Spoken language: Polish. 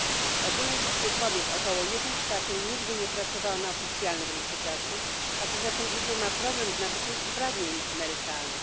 Z ogólnej liczby kobiet około nigdy nie pracowała na oficjalnym rynku pracy, a co za tym idzie, ma problem z nabyciem uprawnień emerytalnych.